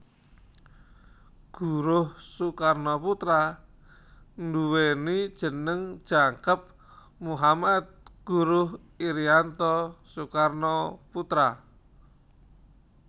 Guruh Soekarnoputra nduwèni jeneng jangkep Muhammad Guruh Irianto Soekarnoputra